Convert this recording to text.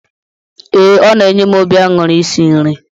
Ee, ọ na-enye m obi aṅụrị isi nri.